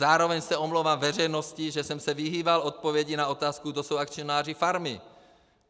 Zároveň se omlouvám veřejnosti, že jsem se vyhýbal odpovědi na otázku, kdo jsou akcionáři farmy.